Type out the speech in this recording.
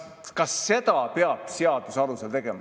Kas seda peab seaduse alusel tegema?